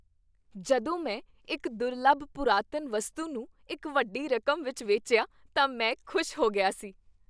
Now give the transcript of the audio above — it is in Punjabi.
ਜਦੋਂ ਮੈਂ ਇੱਕ ਦੁਰਲੱਭ ਪੁਰਾਤਨ ਵਸਤੂ ਨੂੰ ਇਕ ਵੱਡੀ ਰਕਮ ਵਿਚ ਵੇਚਿਆ ਤਾਂ ਮੈਂ ਖੁਸ਼ ਹੋ ਗਿਆ ਸੀ।